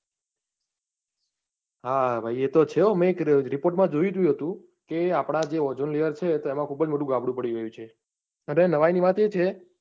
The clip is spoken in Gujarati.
હા ભાઈ એતો છે, મેં એક report માં જોઉં હતું કે જે આપણા જે ozone layer છે તો એમાં ખુબ જ મોટું ગાબડું પડી ગયું છે. અને નવાઈની વાત એ છે.